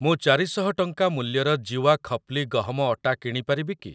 ମୁଁ ଚାରି ଶହ ଟଙ୍କା ମୂଲ୍ୟର ଜୀୱା ଖପ୍ଲି ଗହମ ଅଟା କିଣି ପାରିବି କି?